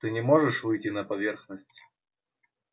ты не можешь выйти на поверхность